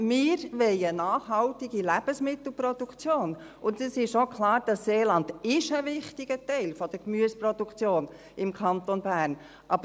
Wir wollen eine nachhaltige Lebensmittelproduktion, und es ist auch klar, dass das Seeland ein wichtiger Teil der Gemüseproduktion im Kanton Bern ist.